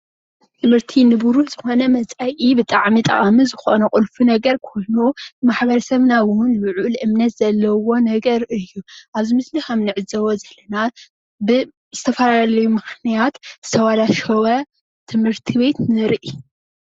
ትምህርቲ ንብሩህ ዝኮነ መፃኢ ብጣዕሚ ጠቃሚ ዝኮነ ቁልፊ ነገር ኮይኑ ማሕበረሰብናውን ልዑል እምነት ዘለዎ ነገር እዩ ፡፡ ኣብዚ ምስሊ ከምንዕዘቦ ዘለና ብዝተፈላለዩ ምክንያት ዝተበላሸወ ትምህርት ቤት ንርኢ፡፡